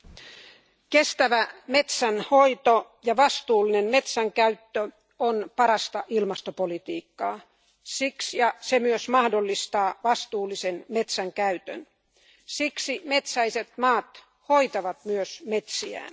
Arvoisa puhemies, kestävä metsänhoito ja vastuullinen metsänkäyttö ovat parasta ilmastopolitiikkaa. Se myös mahdollistaa vastuullisen metsänkäytön. Siksi metsäiset maat hoitavat myös metsiään.